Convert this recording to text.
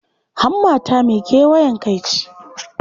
Hammata mai kewayen kai ce.